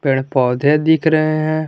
पेड़ पौधे दिख रहे हैं।